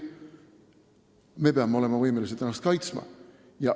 Me peame olema võimelised ennast kaitsma.